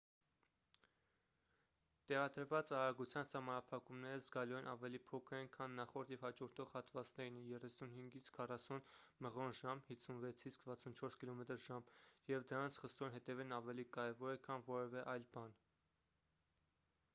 տեղադրված արագության սահմանափակումները զգալիորեն ավելի փոքր են քան նախորդ և հաջորդող հատվածներինը՝ 35-40 մղ./ժ 56-64 կմ/ժ և դրանց խստորեն հետևելն ավելի կարևոր է քան որևէ այլ բան: